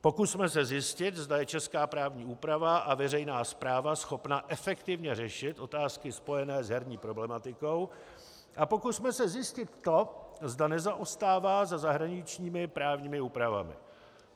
Pokusme se zjistit, zda je česká právní úprava a veřejná správa schopna efektivně řešit otázky spojené s herní problematikou, a pokusme se zjistit to, zda nezaostává za zahraničními právními úpravami.